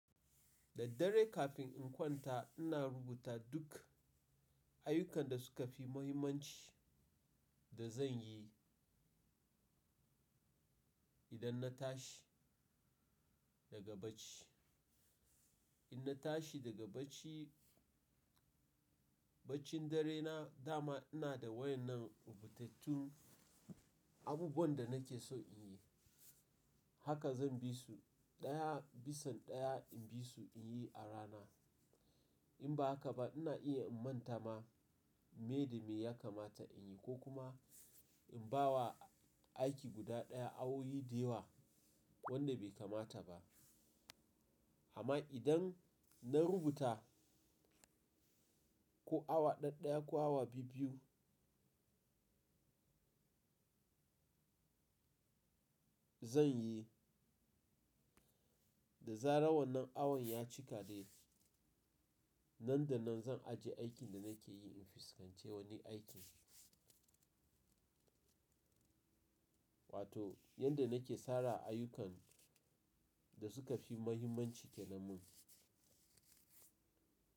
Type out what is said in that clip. Daddare kafin in kwanta ina rubuta duk Ayyukan da suka fi muhimmanci da zan yi idan na tashi daga bacci. In na tashi daga bacci, baccin dare na dama ina da wayannan rubutattu abubuwan da nake so in yi. Haka zan bi su ɗaya bisan ɗaya in bi su in yi a rana. In ba haka ba ina iya in manta ma, me da me ya kamata in yi, ko kuma in ba wa aiki guda ɗaya awowi deyewa wanda bai kamata ba. Amma idan na rubuta ko awa ɗaya-daya ko awa biyu-biyu zan yi, da zarar wannan awon ya cika dai, nan da nan zan ajiye aikin da nake yi in fuskance wani aiki. Wato yanda nake sara ayukan, da suka fi mahimmanci ke nan mun.